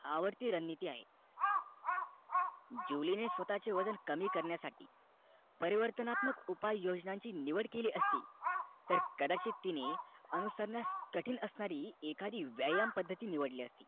आवडती रणनीती आहे जुली ने स्वतःचे वजन कमी करण्यासाठी परिवर्तनक्ताम्क निवड केली असती तर कदाचित तिने अनुसरणास कठीण कठीण असणारी एखादी व्यायाम पद्धती निवडली असती